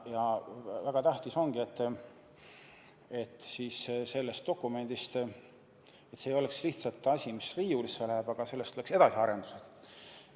Ja väga tähtis ongi, et see dokument ei oleks lihtsalt asi, mis riiulisse läheb, vaid sellest oleks edasiarendused.